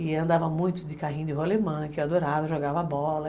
E andava muito de carrinho de rolemã, que eu adorava, jogava bola.